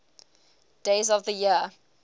days of the year